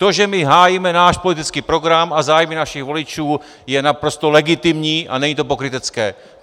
To, že my hájíme náš politický program a zájmy našich voličů, je naprosto legitimní a není to pokrytecké.